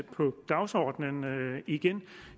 på dagsordenen igen